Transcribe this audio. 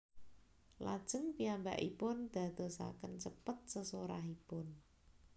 Lajeng piyambakipun dadosaken cepet sesorahipun